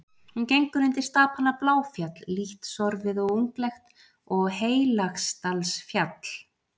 Hún gengur undir stapana Bláfjall, lítt sorfið og unglegt, og Heilagsdalsfjall.